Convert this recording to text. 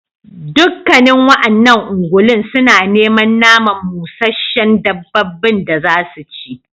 Dukkanen wa'annan ungulun suna neman naman musheshshen dabbabin da zasu ci